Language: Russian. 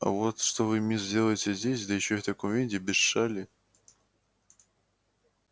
а вот что вы мисс делаете здесь да ещё в таком виде без шали